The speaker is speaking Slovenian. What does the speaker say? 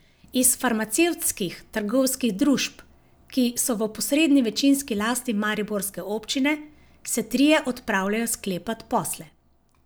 Iz farmacevtskih trgovskih družb, ki so v posredni večinski lasti mariborske občine, se trije odpravljajo sklepat posle.